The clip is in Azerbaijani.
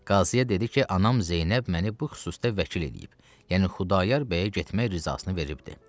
Qaziyə dedi ki, anam Zeynəb məni bu xüsusda vəkil eləyib, yəni Xudayar bəyə getməyə rızasını veribdir.